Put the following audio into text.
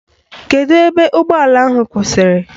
Kedu ebe ụgbọala ha kwụsịrị?